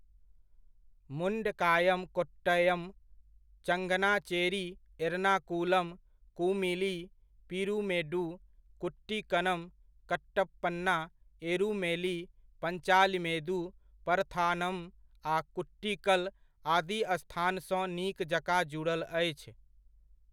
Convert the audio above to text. मुण्डकायम कोट्टयम, चंगनाचेरी, एर्नाकुलम, कुमिली, पीरुमेडु, कुट्टिकनम, कट्टप्पना, एरुमेली, पञ्चालीमेदु, परथानम आ कूट्टिकल आदि स्थानसँ नीक जकाँ जुड़ल अछि।